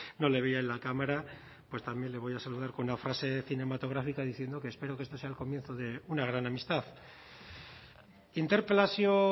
no le veía en la cámara pues también le voy a saludar con una frase cinematográfica diciendo que espero este sea el comienzo de una gran amistad interpelazio